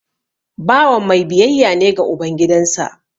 Bawan mai biyayya ne ga uban gidansa